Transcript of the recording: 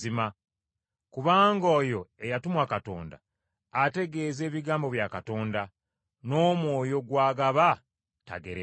Kubanga oyo eyatumwa Katonda ategeeza ebigambo bya Katonda, n’Omwoyo gw’agaba tagerebwa.